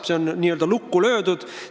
See on n-ö lukku löödud.